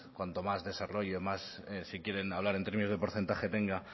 cuanto más desarrollo más si quieren hablar en términos de porcentaje tenga